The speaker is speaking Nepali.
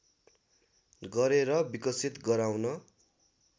गरेर विकसित गराउन